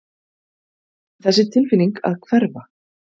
Þessi tilfinning að hverfa.